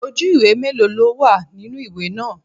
Ojú ìwé mélòó ló wà nínú ìwé náà?